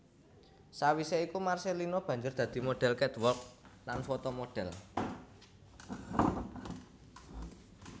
Sawisé iku Marcellino banjur dadi modhel catwalk lan fotomodel